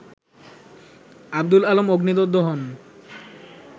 আব্দুল আলম অগ্নিদগ্ধ হন